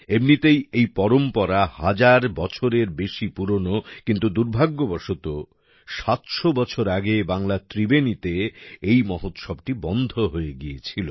এমনিতেই এই পরম্পরা হাজার বছরেরও বেশি পুরনো কিন্তু দুর্ভাগ্যবশত ৭০০ বছর আগে বাংলার ত্রিবেণী তে এই মহোৎসবটি বন্ধ গিয়েছিল